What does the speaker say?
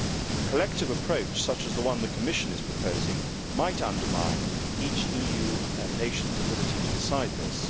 A collective approach such as the one the Commission is proposing might undermine each EU nation's ability to decide this.